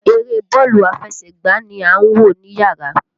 Eré bọ́ọ̀lù aláfẹsẹ̀gbá ni à ń wò níyàrá.